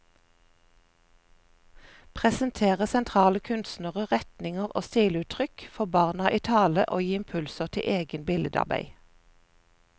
Presentere sentrale kunstnere, retninger og stiluttrykk, få barna i tale og gi impulser til eget billedarbeid.